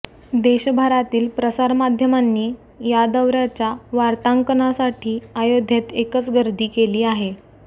देशभरातील प्रसारमाध्यमांनी या दौऱयाच्या वार्तांकनासाठी अयोध्येत एकच गर्दी केली आहे